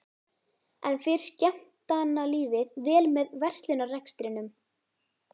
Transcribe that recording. En fer skemmtanalífið vel með verslunarrekstrinum?